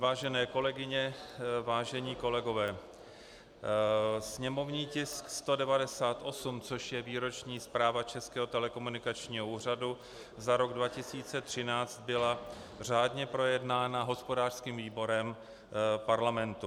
Vážené kolegyně, vážení kolegové, sněmovní tisk 198, což je Výroční zpráva Českého telekomunikačního úřadu za rok 2013, byl řádně projednán hospodářským výborem parlamentu.